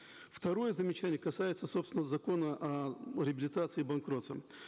второе замечание касается собственно закона о реабилитации и банкротстве